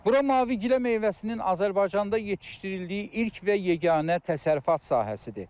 Bura mavigilə meyvəsinin Azərbaycanda yetişdirildiyi ilk və yeganə təsərrüfat sahəsidir.